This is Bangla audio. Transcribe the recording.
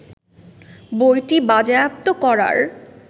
বইটি বাজেয়াপ্ত করার